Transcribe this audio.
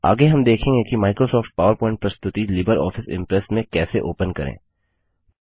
आगे हम देखेंगे कि माइक्रोसॉफ्ट पावरप्वॉइंट प्रस्तुति लिबर ऑफिस इंप्रेस में कैसे ओपन करें